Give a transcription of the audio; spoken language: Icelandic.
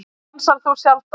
Dansar þú sjaldan?